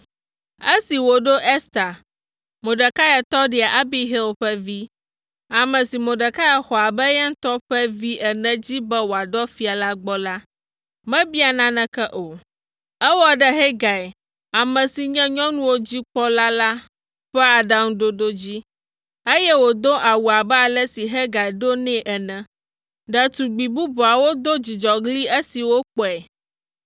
Esi wòɖo Ester, Mordekai tɔɖia Abihail ƒe vi, ame si Mordekai xɔ abe eya ŋutɔ ƒe vi ene dzi be wòadɔ fia la gbɔ la, mebia naneke o; ewɔ ɖe Hegai, ame si nye nyɔnuwo dzi kpɔla la ƒe aɖaŋuɖoɖo dzi, eye wòdo awu abe ale si Hegai ɖo nɛ ene. Ɖetugbi bubuawo do dzidzɔɣli esi wokpɔe.